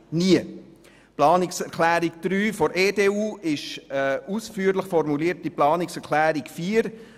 Die Planungserklärung 3 der EDU ist eine ausführlich ausformulierte Planungserklärung 4.